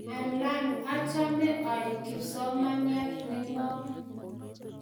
Alen achome aek kipsomaniat ne ng'om